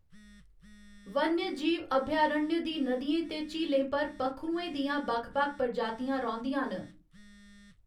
वन्यजीव अभयारण्य दी नदियें ते झीलें पर पक्खरुएं दियां बक्ख बक्ख प्रजातियां रौंह्‌‌‌दियां न।